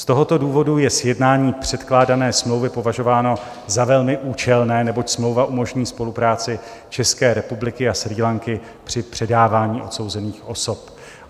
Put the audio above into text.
Z tohoto důvodu je sjednání předkládané smlouvy považováno za velmi účelné, neboť smlouva umožní spolupráci České republiky a Srí Lanky při předávání odsouzených osob.